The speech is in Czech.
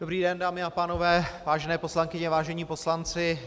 Dobrý den, dámy a pánové, vážené poslankyně, vážení poslanci.